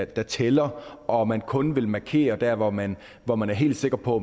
der tæller og man kun vil markere der hvor man hvor man er helt sikker på